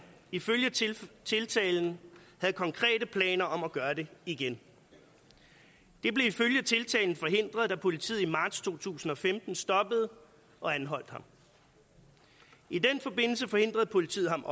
ifølge tiltalen havde konkrete planer om at gøre det igen det blev ifølge tiltalen forhindret da politiet i marts to tusind og femten stoppede og anholdt ham i den forbindelse forhindrede politiet ham